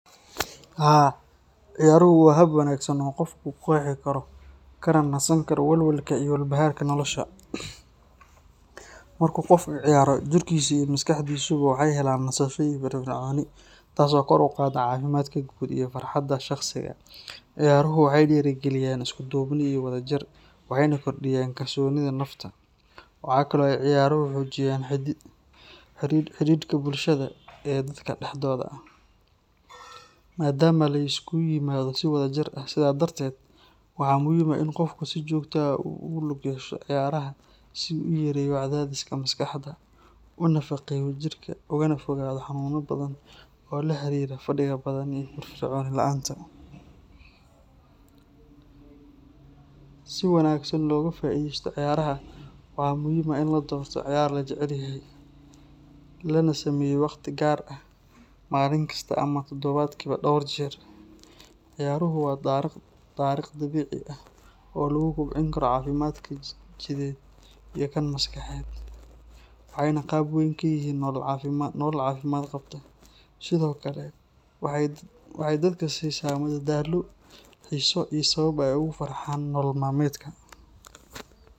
Haa, ciyaaruhu waa hab wanaagsan oo qofku ku qexi karo kana nasan karo walwalka iyo walbahaarka nolosha. Marka qofku ciyaaro, jirkiisa iyo maskaxdiisuba waxay helaan nasasho iyo firfircooni, taasoo kor u qaadda caafimaadka guud iyo farxadda shakhsiga. Ciyaaruhu waxay dhiirrigeliyaan isku duubni iyo wadajir, waxayna kordhiyaan kalsoonida nafta. Waxa kale oo ay ciyaaruhu xoojiyaan xidhiidhka bulsho ee dadka dhexdooda ah, maadaama la isugu yimaado si wadajir ah. Sidaa darteed, waxaa muhiim ah in qofku si joogto ah ugu lug yeesho ciyaaraha si uu u yareeyo cadaadiska maskaxda, u nafaqeeyo jirka, ugana fogaado xanuunno badan oo la xiriira fadhiga badan iyo firfircooni la’aanta. Si wanaagsan loogu faa’iidaysto ciyaaraha, waxaa muhiim ah in la doorto ciyaar la jecel yahay, lana sameeyo wakhti gaar ah maalin kasta ama toddobaadkiiba dhowr jeer. Ciyaaruhu waa dariiq dabiici ah oo lagu kobcin karo caafimaadka jidheed iyo kan maskaxeed, waxayna qayb weyn ka yihiin nolol caafimaad qabta. Sidoo kale waxay dadka siisaa madadaalo, xiiso iyo sabab ay ugu farxaan nolol maalmeedka.